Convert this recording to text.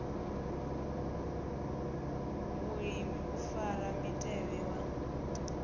vhulimi u fara mutevhe wa